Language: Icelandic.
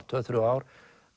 tvö til þrjú ár